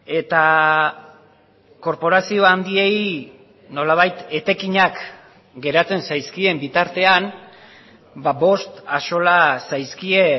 eta korporazio handiei nolabait etekinak geratzen zaizkien bitartean bost axola zaizkie